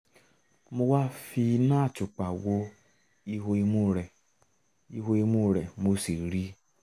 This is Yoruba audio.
mo wá fi iná àtùpà wo ihò imú rẹ̀ ihò imú rẹ̀ mo sì ríi